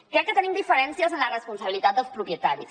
crec que tenim diferències en la responsabilitat dels propietaris